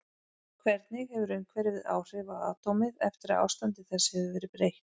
Hvernig hefur umhverfið áhrif á atómið eftir að ástandi þess hefur verið breytt?